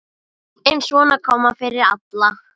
En svona kom fyrir alla.